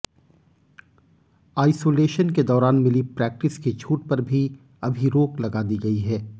isolation के दौरान मिली प्रैक्टिस की छूट पर भी अभी रोक लगा दी गई है